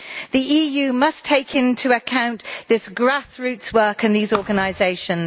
The EU must take into account this grassroots work and these organisations.